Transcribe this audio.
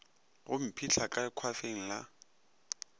go mphihla ka hwafeng la